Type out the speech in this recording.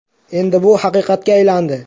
Endi bu haqiqatga aylandi.